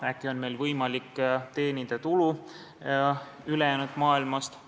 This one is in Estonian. Äkki on meil võimalik teenida tulu ülejäänud maailmast?